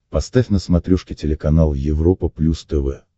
поставь на смотрешке телеканал европа плюс тв